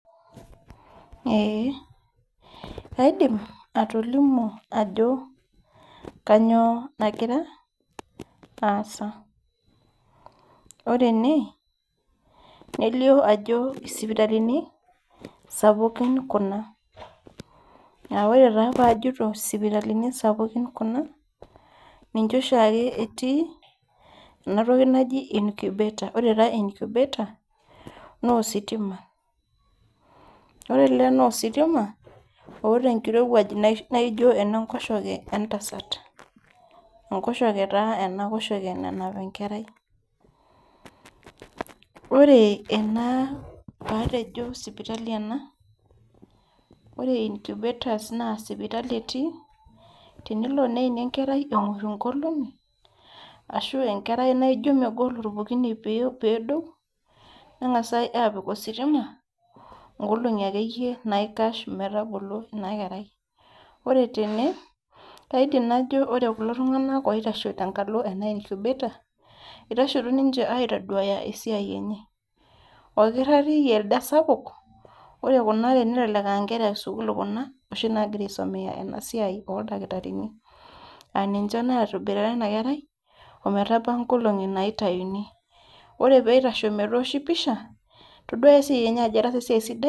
Eeh kaidim atolimu ajo kanyoo nagira aasa ore ene nelio ajo isipitalini sapukin kuna aore taa pajito isipitalini sapukin kuna ninche oshiake etii enatoki naji incubator ore taa incubator naa ositima ore ele naa ositima oota enkirowuaj naijio enenkoshoke entasat enkoshoke taa ena koshoke nanap enkerai ore ena paatejo sipitali ena ore incubators naa sipitali etii tenilo neini enkerai eton eng'orr inkolong'i ashu enkera naijo megol orpokine pee pedou neng'asae apik ositima inkolong'i akeyie naikash metagolo ina kerai ore tene kaidim najo ore kulo tung'anak oitasho tenkalo ena incubator itashoto ninche aitoduaya esiai enye okirrati ele sapuk ore kuna are nelelek ankera esukuul kuna oshi nagira aisomeya ena siai oldakitarini aninche natoboitare ena kerai ometaba inkolong'i naitayuni ore peitasho metooshi pisha todua esiai enye ajo etaasa esiai sidai.